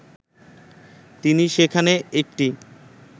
তিনি সেখানে একটি